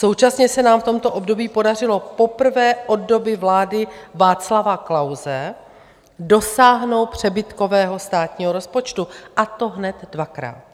Současně se nám v tomto období podařilo poprvé od doby vlády Václava Klause dosáhnout přebytkového státního rozpočtu, a to hned dvakrát.